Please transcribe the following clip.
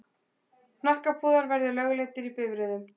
Hnakkapúðar verði lögleiddir í bifreiðum.